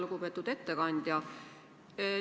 Lugupeetud ettekandja!